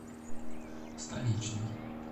столичный